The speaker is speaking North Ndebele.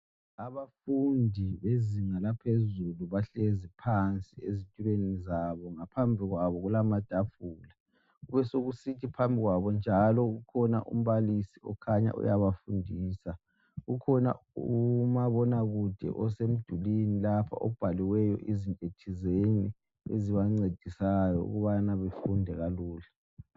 Abafundi bezinga laphezulu bahlezi phansi ezitulweni zabo. Ngaphambi kwabo kulamatafula. Besekusithi phambi kwabo njalo kukhona umbalisi okhanya uyabafundisa. Ukhona umabonakude osemdulini lapha obhaliweyo izintothizeni ezibancedisayo ukubana bafunde kalula.